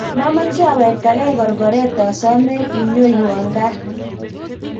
mameche awektegei korkoret asome inyowon kat